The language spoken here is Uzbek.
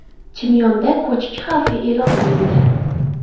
Chimyonda ko‘chki xavfi e’lon qilindi.